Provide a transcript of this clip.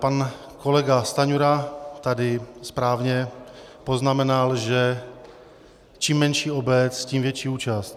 Pan kolega Stanjura tady správně poznamenal, že čím menší obec, tím větší účast.